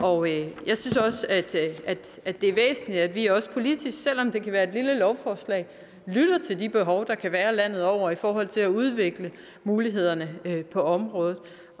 også at det er væsentligt at vi også politisk selv om det kan være et lille lovforslag lytter til de behov der kan være landet over i forhold til at udvikle mulighederne på området